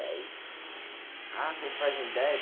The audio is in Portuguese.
Dez. Ah, você faz em dez?